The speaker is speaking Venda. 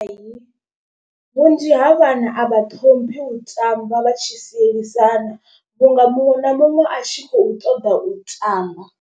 Hai vhunzhi ha vhana a vha ṱhomphi u tamba vha tshi sielisana vhunga muṅwe na muṅwe a tshi khou ṱoḓa u tamba.